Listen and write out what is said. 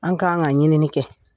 An k'an ka ɲinili kɛ.